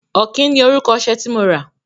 Ọ̀kín ni orúkọ ọṣẹ tí mo rà.